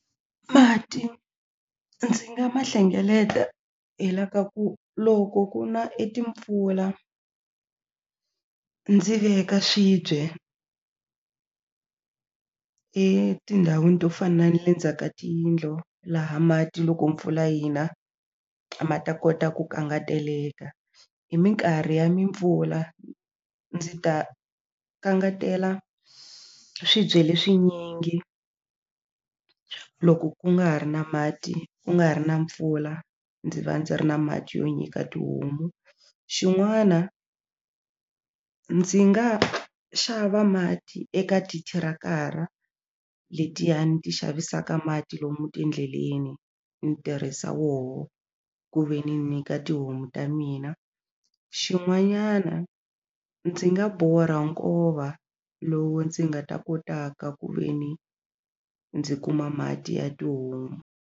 Mati ndzi nga ma hlengeleta hi la ka ku loko ku na e timpfula ndzi veka swibye etindhawini to fana na le ndzhaka tiyindlo laha mati loko mpfula yina ma ta kota ku kangateleka hi mikarhi ya mimpfula ndzi ta kangetela swibye leswinyingi loko ku nga ha ri na mati ku nga ha ri na mpfula ndzi va ndzi ri na mati yo nyika tihomu xin'wana ndzi nga xava mati eka tithirakara letiyani ti xavisaka mati lomu tindleleni ni tirhisa woho ku ve ni nyika tihomu ta mina xin'wanyana ndzi nga borha nkova lowu ndzi nga ta kotaka ku ve ni ndzi kuma mati ya tihomu.